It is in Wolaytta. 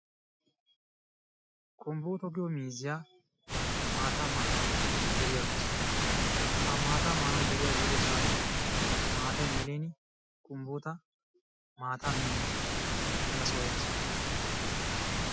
Kumbbuto giyo miizziyaa maataa maana deriyaa baasu. Ha maataa maanawu deriyaa biidoosona maatay melin Kumbbuta maataa meenan mela soo yaasu.